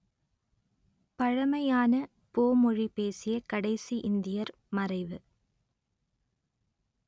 பழமையான போ மொழி பேசிய கடைசி இந்தியர் மறைவு